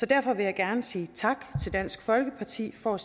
derfor vil jeg gerne sige tak til dansk folkeparti for at